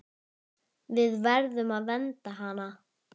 Við verðum að vernda hana.